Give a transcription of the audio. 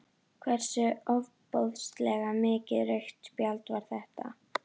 Hversu ofboðslega mikið rautt spjald var þetta?